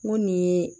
N ko nin ye